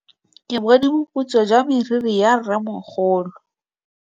Ke bone boputswa jwa meriri ya rrêmogolo.